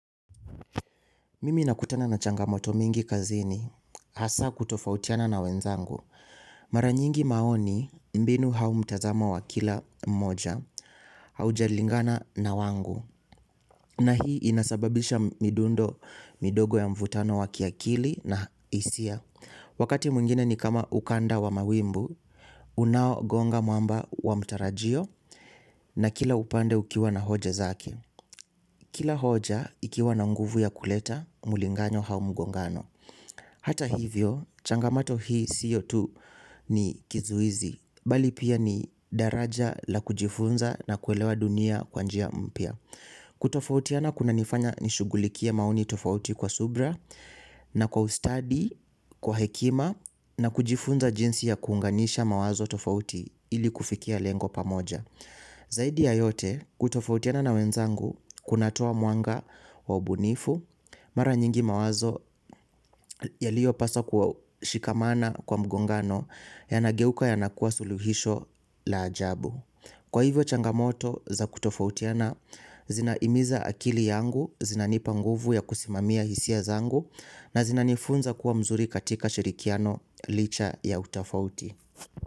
Mimi nakutana na changamoto mingi kazini hasa kutofautiana na wenzangu maranyingi maoni mbinu au mtazamo wa kila mmoja, haujalingana na wangu. Na hii inasababisha midundo midogo ya mvutano wa kiakili na hisia. Wakati mwingine ni kama ukanda wa mawimbi, unao gonga mwamba wa mtarajio na kila upande ukiwa na hoja zake. Kila hoja ikiwa na nguvu ya kuleta, mulinganyo au mgongano. Hata hivyo, changamato hii siyo tu ni kizuizi. Bali pia ni daraja la kujifunza na kuelewa dunia kwanjia mpya. Kutofautia na kuna nifanya nishugulikia maoni tofauti kwa subra na kwa ustadi, kwa hekima na kujifunza jinsi ya kuunganisha mawazo tofauti ili kufikia lengo pamoja. Zaidi ya yote kutofautiana na wenzangu kunatoa mwanga wa ubunifu mara nyingi mawazo yaliyopaswa kwa shikamana kwa mgongano yanageuka yanakuwa suluhisho la ajabu. Kwa hivyo changamoto za kutofautiana zina imiza akili yangu, zinanipa nguvu ya kusimamia hisia zangu na zina nifunza kuwa mzuri katika shirikiano licha ya utofauti.